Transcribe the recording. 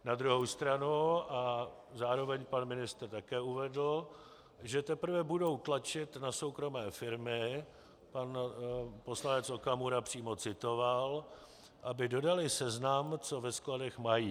Na druhou stranu a zároveň pan ministr také uvedl, že teprve budou tlačit na soukromé firmy, pan poslanec Okamura přímo citoval, aby dodaly seznam, co ve skladech mají.